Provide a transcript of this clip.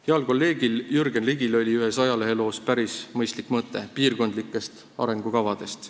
Heal kolleegil Jürgen Ligil oli ühes ajaleheloos päris mõistlik mõte piirkondlikest arengukavadest.